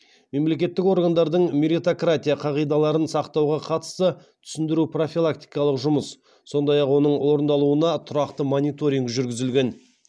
мемлекеттік органдардың меритократия қағидаларын сақтауға қатысты түсіндіру профилактикалық жұмыс сондай ақ оның орындалуына тұрақты мониторинг жүргізілген